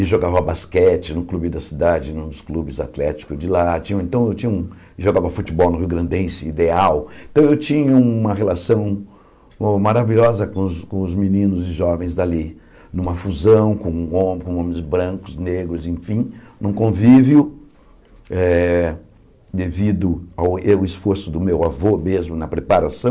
e jogava basquete no clube da cidade, nos clubes atléticos de lá, tinha então jogava futebol no Rio Grandense, ideal, então eu tinha uma relação maravilhosa com os com os meninos e jovens dali, numa fusão com homens brancos, negros, enfim, num convívio, eh devido ao esforço do meu avô mesmo na preparação,